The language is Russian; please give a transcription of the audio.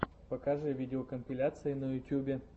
покажи видеокомпиляции на ютьюбе